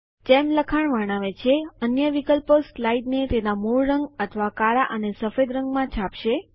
જેમ લખાણ વર્ણવે છે અન્ય વિકલ્પો સ્લાઇડને તેના મૂળ રંગ અથવા કાળા અને સફેદ રંગમાં છાપશે